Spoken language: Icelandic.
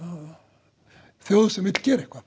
þjóð sem vill gera eitthvað